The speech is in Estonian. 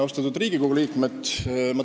Austatud Riigikogu liikmed!